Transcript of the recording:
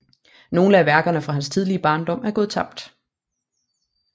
Nogle af værkerne fra hans tidlige barndom er gået tabt